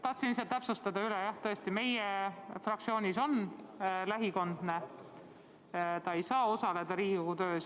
Tahan lihtsalt märkida, et jah, tõesti, meie fraktsioonis on lähikondne, ta ei saa Riigikogu töös osaleda.